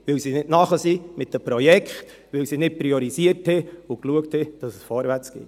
– Weil sie nicht parat sind mit den Projekten, weil sie nicht priorisierten und schauten, dass es vorwärtsgeht.